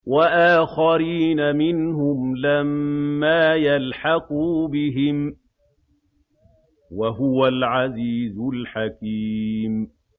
وَآخَرِينَ مِنْهُمْ لَمَّا يَلْحَقُوا بِهِمْ ۚ وَهُوَ الْعَزِيزُ الْحَكِيمُ